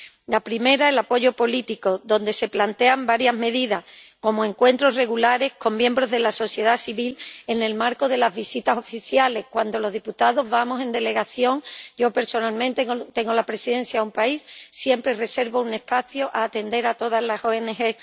La primera, el apoyo político, donde se plantean varias medidas, como encuentros regulares con miembros de la sociedad civil en el marco de las visitas oficiales —cuando los diputados vamos en delegación, yo personalmente tengo la presidencia, a un país, siempre reservo un espacio para atender a todas las ONG—.